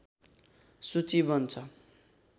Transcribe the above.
सूचि बन्छ